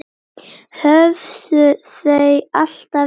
Höfðu þau alltaf verið svona?